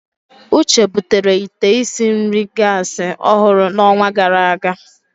Uche butere ite isi nri gasi ọhụrụ n'ọnwa gara aga.